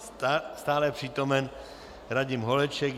Stále přítomen Radim Holeček.